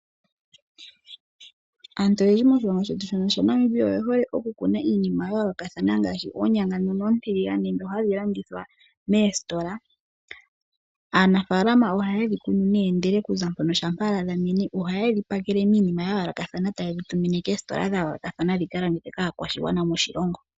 Aantu oyendji yomoshilongo shetu shono Namibia oye hole okukuna iinima ya yoolokathana ngaashi oonyanga dhono ontiiligane, dho hadhi landithwa moositola. Aanafaalama ohaye dhi kunu ndele okuza mpono shama dha mene, ohaye dhi pakele niinima ya yoolokathana etaye tumine koositola dha yoolokathana dhikalandithwe kaakwashigwana moshilongo.